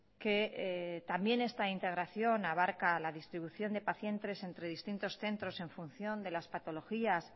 que también esta integración abarca la distribución de pacientes entre distintos centros en función de las patologías